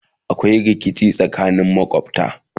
akwai rikici tsakanin makwafta